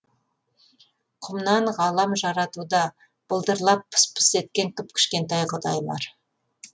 құмнан ғалам жаратуда былдырлап пыс пыс еткен кіп кішкентай құдайлар